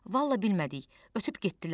Vallah bilmədik, ötüb getdilər.